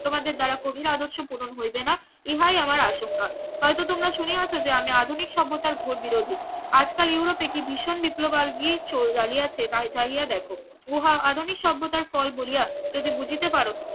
তোমাদের দ্বারা কঠিন আদর্শ পূরণ হইবে না ইহাই আমার আশঙ্কা হয়তো তোমরা শুনিয়াছো যে আমি আধুনিক সভ্যতার ঘোর বিরোধী আজকাল ইউরোপে কি ভীষণ বিপ্লব জ্বালিয়েছে দেখো উহা আধুনিক সভ্যতার ফল বলিয়া যদি বুঝিতে পারো